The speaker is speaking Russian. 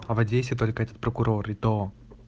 а в одессе только этот прокурор и то